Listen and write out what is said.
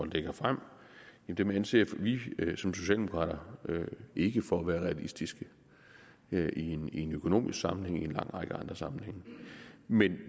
lægger frem anser vi som socialdemokrater ikke for at være realistiske i en økonomisk sammenhæng og i en lang række andre sammenhænge men